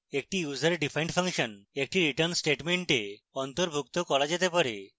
একটি userdefined function একটি return statement অন্তর্ভুক্ত করা যেতে পারে